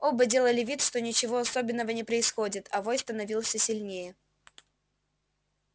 оба делали вид что ничего особенного не происходит а вой становился сильнее